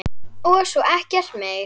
Og svo ekkert meir.